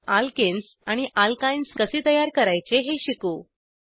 alkenes आणि alkynes कसे तयार करायचे हे शिकू